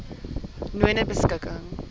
nonebeskikking